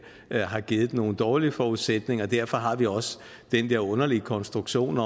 har givet nogle dårlige forudsætninger og derfor har vi også den der underlige konstruktion